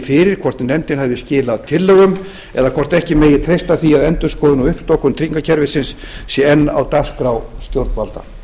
fyrir hvort nefndin hafi skilað tillögum eða hvort ekki megi treysta því að endurskoðun og uppstokkun tryggingakerfisins sé enn á dagskrá stjórnvalda